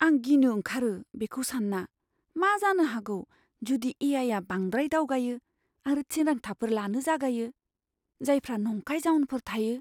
आं गिनो ओंखारो बेखौ सानना, मा जानो हागौ जुदि ए.आइ.आ बांद्राय दावगायो आरो थिरांथाफोर लानो जागायो, जायफ्रा नंखाय जाउनफोर थायो!